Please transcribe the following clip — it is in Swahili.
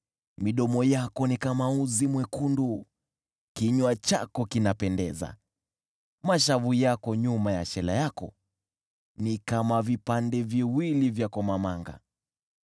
Midomo yako ni kama uzi mwekundu, kinywa chako kinapendeza. Mashavu yako nyuma ya shela yako ni kama vipande viwili vya komamanga.